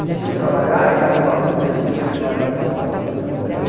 Eles tinham que trabalhar e dava um balão no serviço para ir levar a gente e tal, todo mundo muito legal.